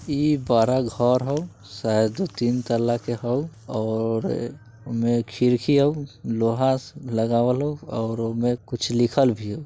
इ बड़ा घर होऊ शायद दू-तीन तल्ला के होऊ और ओय में खिड़की होऊ लोहा से लगावल होऊ और ओय में कुछ लिखल भी होऊ।